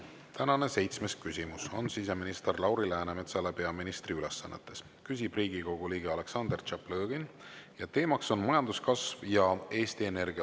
Tänane seitsmes küsimus on siseminister Lauri Läänemetsale peaministri ülesannetes, küsib Riigikogu liige Aleksandr Tšaplõgin ning teema on majanduskasv ja Eesti Energia.